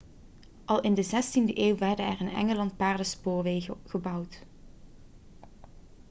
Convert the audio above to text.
al in de 16e eeuw werden er in engeland paardenspoorwegen gebouwd